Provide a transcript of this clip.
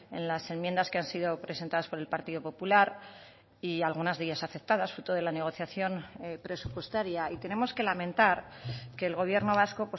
en las enmiendas que han sido presentadas por el partido popular y algunas de ellas aceptadas fruto de la negociación presupuestaria y tenemos que lamentar que el gobierno vasco